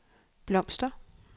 blomster